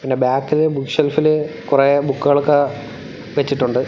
പിന്നെ ബാക്കില് ബുക്ക് ഷെൽഫില് കൊറേ ബുക്കുകളൊക്കെ വെച്ചിട്ടുണ്ട്.